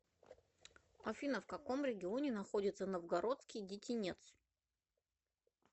афина в каком регионе находится новгородский детинец